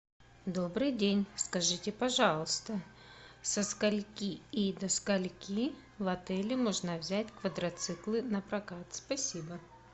добрый день скажите пожалуйста со скольки и до скольки в отеле можно взять квадроциклы на прокат спасибо